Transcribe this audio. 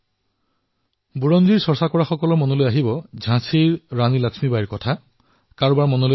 ইতিহাসপ্ৰেমীসকলে এই অঞ্চলটোক ঝাঁচীৰ ৰাণী লক্ষ্মীবাইৰ সৈতে জড়িত কৰিব